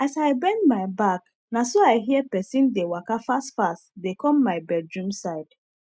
as i bend my back naso i hear pesin dey waka fast fast dey com my bedroom side